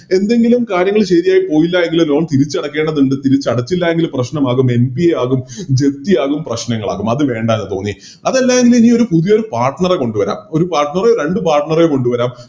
എന്തെങ്കിലും കാര്യങ്ങള് ശെരിയായിപോയില്ല എങ്കില് Loan തിരിച്ചടക്കേണ്ടതുണ്ട് തിരിച്ചടച്ചില്ല എങ്കില് പ്രശ്നമാകും ആകും Japthi ആകും പ്രശ്നങ്ങളാകും അത് വേണ്ടാന്ന് തോന്നി അതല്ലായെങ്കിലെനി പുതിയൊരു Partner എ കൊണ്ടുവരാം ഒരു Partner എ രണ്ട് Partner എ കൊണ്ടുവരാം